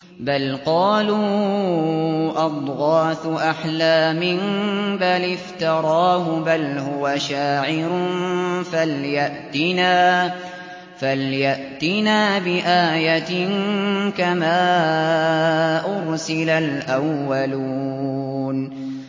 بَلْ قَالُوا أَضْغَاثُ أَحْلَامٍ بَلِ افْتَرَاهُ بَلْ هُوَ شَاعِرٌ فَلْيَأْتِنَا بِآيَةٍ كَمَا أُرْسِلَ الْأَوَّلُونَ